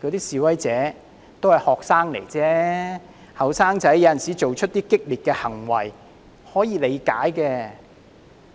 示威者都是學生而已，年青人有時做出一些激烈的行為，是可以理解的。